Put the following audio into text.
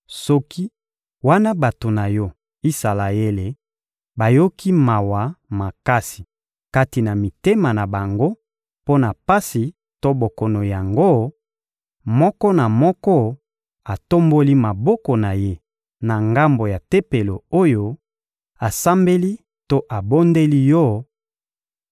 soki, wana bato na Yo, Isalaele, bayoki mawa makasi kati na mitema na bango mpo na pasi to bokono yango, moko na moko atomboli maboko na ye na ngambo ya Tempelo oyo, asambeli to abondeli Yo,